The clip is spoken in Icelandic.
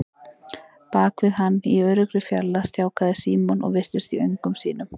Bak við hann, í öruggri fjarlægð, stjáklaði Símon og virtist í öngum sínum.